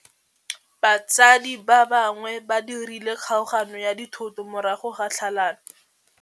Batsadi ba gagwe ba dirile kgaoganyô ya dithoto morago ga tlhalanô.